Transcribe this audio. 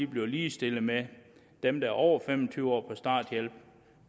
bliver ligestillet med dem der er over fem og tyve år og er på starthjælp